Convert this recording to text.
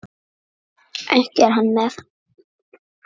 Ekki er hann með?